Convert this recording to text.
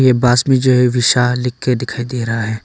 बास में जो है विशा लिख के दिखाई दे रहा है।